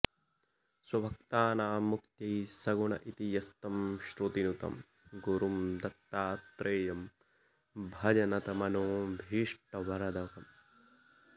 स्वभक्तानां मुक्त्यै सगुण इति यस्तं श्रुतिनुतं गुरुं दत्तात्रेयं भज नतमनोऽभीष्टवरदम्